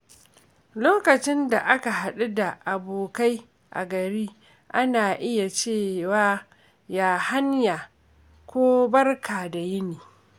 Lokacin da aka haɗu da abokai a gari, ana iya cewa “Ya hanya?” ko “Barka da yini.”